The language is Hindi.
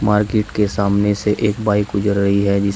मार्केट के सामने से एक बाइक गुजर रही है जिस--